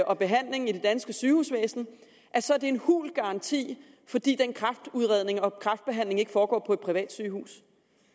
og behandling i det danske sygehusvæsen så er det en hul garanti fordi den kræftudredning og kræftbehandling ikke foregår på et privat sygehus